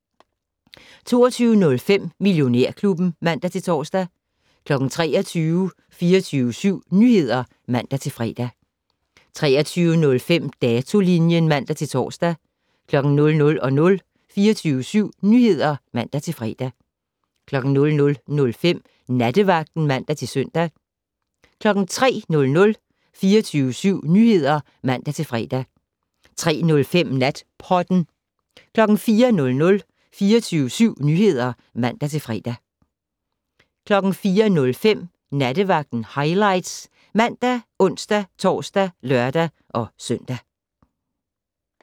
22:05: Millionærklubben (man-tor) 23:00: 24syv Nyheder (man-fre) 23:05: Datolinjen (man-tor) 00:00: 24syv Nyheder (man-fre) 00:05: Nattevagten (man-søn) 03:00: 24syv Nyheder (man-fre) 03:05: Natpodden 04:00: 24syv Nyheder (man-fre) 04:05: Nattevagten Highlights ( man, ons-tor, lør-søn)